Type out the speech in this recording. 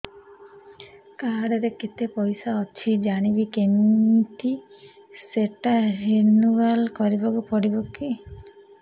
card ରେ କେତେ ପଇସା ଅଛି ଜାଣିବି କିମିତି ସେଟା ରିନୁଆଲ କରିବାକୁ ପଡ଼ିବ କି